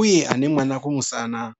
uye ane mwana kumusana.